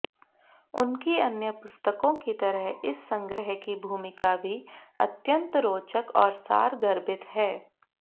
उनकी अन्य पुस्तकों की तरह इस संग्रह की भूमिका भी अत्यंत रोचक और सारगर्भित है